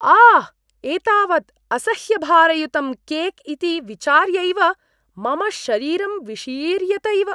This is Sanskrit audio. आह्! एतावत् असह्यभारयुतं केक् इति विचार्यैव मम शरीरं विशीर्यत इव।